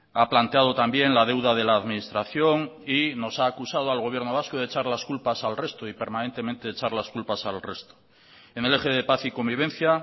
ha planteado también la deuda de la administración y nos ha acusado al gobierno vasco de echar las culpas al resto y permanentemente echar las culpas al resto en el eje de paz y convivencia